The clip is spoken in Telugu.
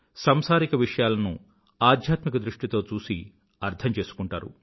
సంసారిక విషయాలను ఆధ్యాత్మిక దృష్టితో చూసి అర్థంచేసుకుంటారు